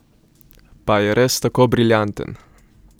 Pa je res tako briljanten?